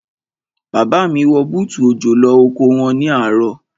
Bàbá mi wọ bútù òjò lọ oko wọn ní àárọ̀.